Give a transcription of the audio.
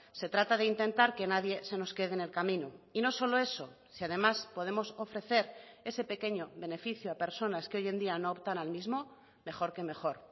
se trata de intentar que nadie se nos quede en el camino y no solo eso si además podemos ofrecer ese pequeño beneficio a personas que hoy en día no optan al mismo mejor que mejor